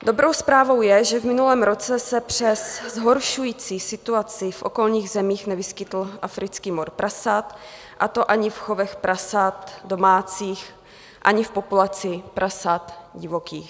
Dobrou zprávou je, že v minulém roce se přes zhoršující situaci v okolních zemích nevyskytl africký mor prasat, a to ani v chovech prasat domácích, ani v populaci prasat divokých.